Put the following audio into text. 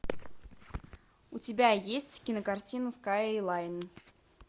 у тебя есть кинокартина скайлайн